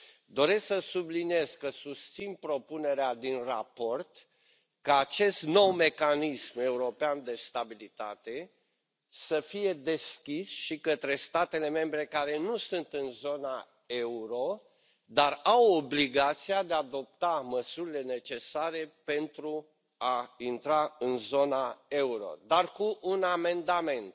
Doresc să subliniez că susțin propunerea din raport, ca acest nou Mecanism European de Stabilitate să fie deschis și către statele membre care nu sunt în zona euro, dar au obligația de a adopta măsurile necesare pentru a intra în zona euro, dar, cu un amendament